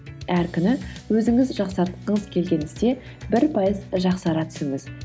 әр күні өзіңіз жақсартқыңыз келген істе бір пайыз жақсара түсіңіз